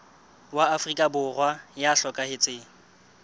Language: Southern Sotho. wa afrika borwa ya hlokahetseng